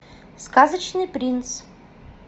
сказочный принц